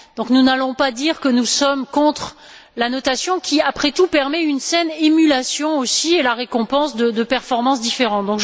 Nous n'allons donc pas dire que nous sommes contre la notation qui, après tout, permet aussi une saine émulation et la récompense de performances différentes.